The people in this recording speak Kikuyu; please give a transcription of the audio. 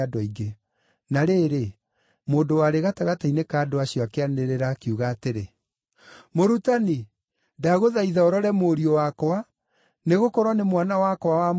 Na rĩrĩ, mũndũ warĩ gatagatĩ-inĩ ka andũ acio akĩanĩrĩra, akiuga atĩrĩ, “Mũrutani, ndagũthaitha ũrore mũriũ wakwa, nĩgũkorwo nĩ mwana wakwa wa mũmwe.